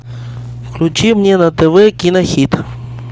включи мне на тв кинохит